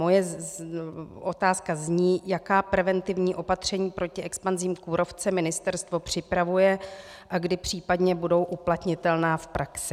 Moje otázka zní, jaká preventivní opatření proti expanzi kůrovce ministerstvo připravuje a kdy případně budou uplatnitelná v praxi.